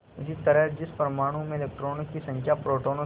इसी तरह जिस परमाणु में इलेक्ट्रॉनों की संख्या प्रोटोनों से